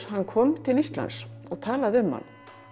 hann kom til Íslands og talaði um hann